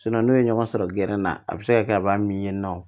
n'o ye ɲɔgɔn sɔrɔ gɛrɛnna a bi se ka kɛ a b'a min ye nɔ